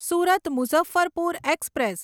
Surat Muzaffarpur express